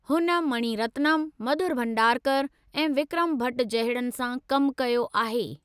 हुन मणी रत्नम, मधुर भंडारकर ऐं विक्रम भट जहिड़नि सां कमु कयो आहे।